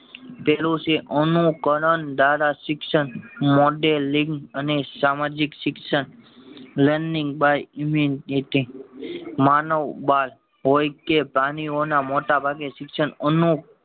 પેલું છે અનુકરણ ધારા શિક્ષણ મોડેલિંગ અને સામાજિક શિક્ષણ લર્નિંગ બાય માનવ બાલ હોય કે પ્રાણીઓના મોટા ભાગ ના શિક્ષણ એનું